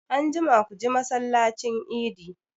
Anjima ku ji masallacin idi!